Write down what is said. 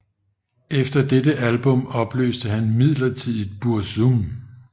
Efter dette album opløste han midlertidigt Burzum